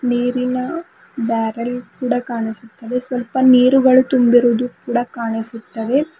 ನೀರಿನ ಬ್ಯಾರೆಲ್ ಕೂಡ ಕಾಣಿಸುತ್ತದೆ ಸ್ವಲ್ಪ ನೀರುಗಳು ತುಂಬಿರುವುದು ಕೂಡ ಕಾಣಿಸುತ್ತವೆ.